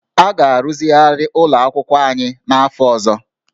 A ga-arụzigharị ụlọ akwụkwọ anyị n'afọ ọzọ